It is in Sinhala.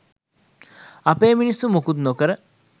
අපේ මිනිස්සු ‍මුකුත් නොකර